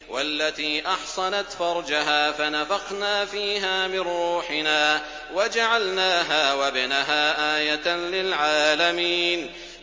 وَالَّتِي أَحْصَنَتْ فَرْجَهَا فَنَفَخْنَا فِيهَا مِن رُّوحِنَا وَجَعَلْنَاهَا وَابْنَهَا آيَةً لِّلْعَالَمِينَ